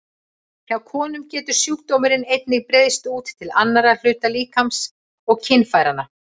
Hjá konum getur sjúkdómurinn einnig breiðst út til annarra hluta líkamans en kynfæranna.